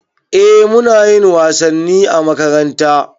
Eh munayin wasanni a makaranta